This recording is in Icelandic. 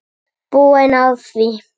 Búin á því.